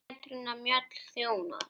Petrína Mjöll þjónar.